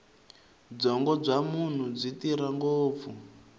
byongo bya munhu byi tirha ngopfu